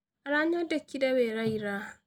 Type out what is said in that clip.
aranyandĩkĩire wĩra ira.